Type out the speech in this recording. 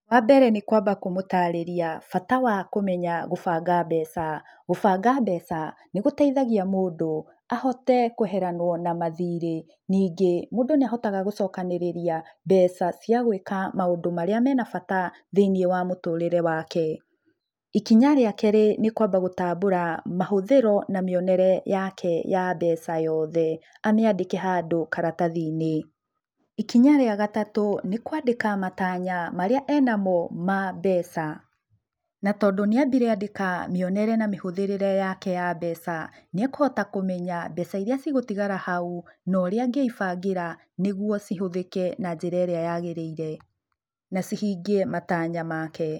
Wambere nĩ kwamba kũmũtarĩria bata wa kũmenya gũbanga mbeca, gũbanga mbeca nĩ gũteithagia mũndũ ahote kweheranwo na mathiirĩ, ningĩ mũndũ nĩ ahotaga gũcokanĩrĩria mbeca cia gwĩka maũndũ marĩa me na bata thĩiniĩ wa mũtũrĩre wake. Ikinya rĩa kerĩ nĩ kwamba gũtambura mahũthĩro na mĩonere yake ya mbeca yoothe. Amĩandĩke handũ karatathi-inĩ. Ikinya rĩa gatatũ nĩ kwandĩka matanya marĩa ena mo ma mbeca. Na tondũ nĩ ambire andĩka mĩonere na mĩhũthĩrĩre yake ya mbeca nĩekuhota kũmenya mbeca irĩa cigũtigara hau na ũrĩa angĩibangĩra nĩguo cihũthĩke na njĩra ĩrĩa yagĩrĩire na cihingie matanya make.